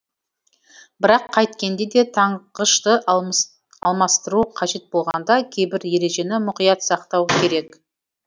бірақ қайткенде де таңғышты алмастыру қажет болғанда кейбір ережені мұқият сақтау керек